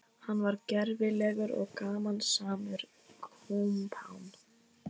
Hann var gervilegur og gamansamur kumpán.